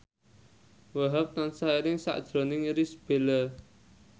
Wahhab tansah eling sakjroning Irish Bella